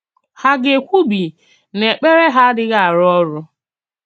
Hà gà-èkwúbì nà èkpèrè hà àdìghì àrụ́ òrụ́?